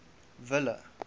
ville